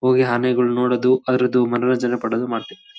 Actually Shimoga ಬಂದು ಮಲ್ನಾಡ್ ಪ್ರದೇಶ ಅಂತಾರೆ .